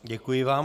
Děkuji vám.